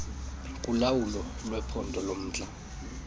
kulawulo lwephondo lomntla